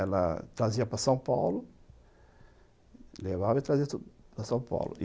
Ela trazia para São Paulo, levava e trazia para São Paulo.